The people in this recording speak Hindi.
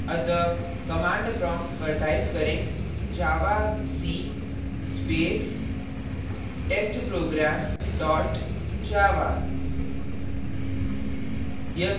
अतः command prompt पर type करें javac space testprogram dot java